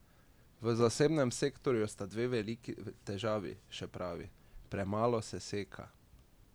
V zasebnem sektorju sta dve veliki težavi, še pravi: "Premalo se seka.